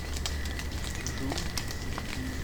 чжуцзи